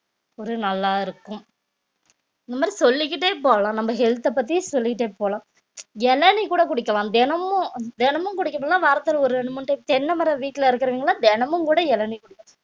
ஒரு நல்லா இருக்கும் இந்த மாரி சொல்லிக்கிட்டே போகலாம் நம்ம health அ பத்தி சொல்லிட்டே போலாம் இளநீர் கூட குடிக்கலாம் தினமும் தினமும் குடிக்கணும்ன்னா வாரத்துல ஒரு ரெண்டு மூணு தென்ன மரம் வீட்டுல இருக்கிறவிங்கல்லாம் தினமும் கூட இளநீர் குடிக்கணும்